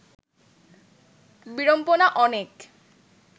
বিড়ম্বনা অনেক